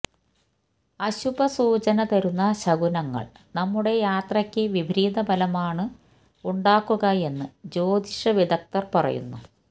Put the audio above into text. അശുഭ സൂചന തരുന്ന ശകുനങ്ങൾ നമ്മുടെ യാത്രയ്ക്ക് വിപരീത ഫലമാണ് ഉണ്ടാക്കുകയെന്ന് ജ്യോതിഷ വിദഗ്ദർ പറയുന്നു